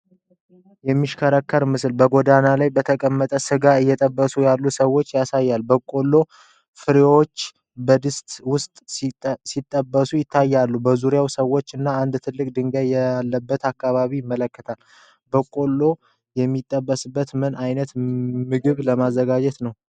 የሚሽከረከር ምስል በጎዳና ላይ ተቀምጠው ስጋ እየጠበሱ ያሉ ሰዎችን ያሳያል። የበቆሎ ፍሬዎች በድስት ውስጥ ሲጠበሱ ይታያሉ። በዙሪያው ሰዎች እና አንድ ትልቅ ድንጋይ ያለበትን አካባቢ ያመለክታል። በቆሎው የሚጠበሰው ምን አይነት ምግብ ለማዘጋጀት ነው?